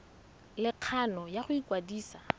le kgano ya go ikwadisa